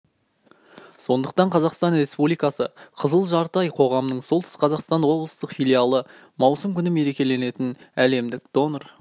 сондықтан қазақстан респубдикасы қызыл жарты ай қоғамыың солтүстік қазақстан облыстық филиалы маусым күні мерекеленетін әлемдік донор